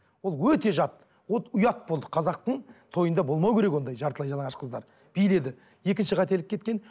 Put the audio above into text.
ол өте жат вот ұят болды қазақтың тойында болмау керек ондай жартылай жалаңаш қыздар биледі екінші қателік кеткен